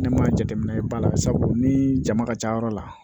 Ne ma jateminɛ ba la sabu ni jama ka ca yɔrɔ la